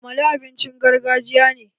Amala abincin gargajiya ne